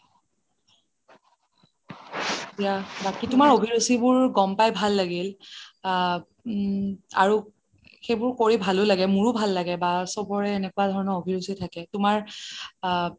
বাকি তোমাৰ অভিৰূচি বোৰ যানি ভালেই লাগিল সেইবোৰ কৰি ভালো লাগে মোৰো ভাল লাগে বা চবৰে এনেকুৱা ধৰণৰ অভিৰুসি থাকে তোমাৰ আ